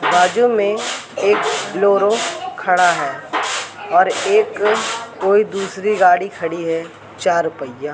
बाजू में एक बोलोरो खड़ा हैं और एक कोई दूसरी गाड़ी खड़ी हैं चार पहिया।